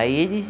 Aí eles.